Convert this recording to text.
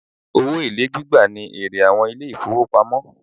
Owó èlé gbígbà ní èrè àwọn ilé ìfọwọ́pamo.